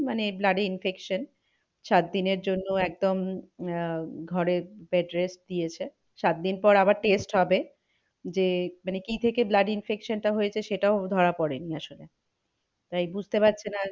মানে blood infection সাত দিনের জন্য একদম আহ ঘরে bed rest দিয়েছে। সাত দিন পর আবার test হবে যে মানে কি থেকে blood infection টা হয়েছে সেটাও ধরা পড়েনি আসলে তাই বুঝতে পারছে না